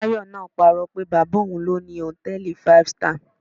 Tayo náà pa irọ́ pé bàbá òun ló ni hòtẹ́ẹ̀lì five star